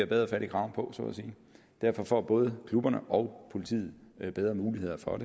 bedre fat i kraven på så at sige derfor får både klubberne og politiet bedre muligheder for